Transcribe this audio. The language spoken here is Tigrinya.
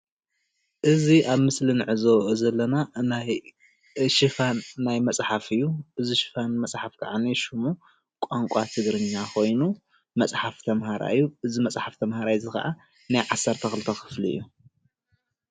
እዚ ኣብ ምስሊ እንዕዘቦ ዘለና ናይ ሽፋን ናይ መፅሓፍ እዩ፣ እዚ ሽፋን መፅሓፍ ክዓ ሽሙ ቋንቋ ትግርኛ ኮይኑ መፅሓፍ ተምሃራይ እዩ፡፡ እዚ መፅሓፍ እዚ ከዓ ናይ ዓሰርተ ክፍሊ እዩ፡፡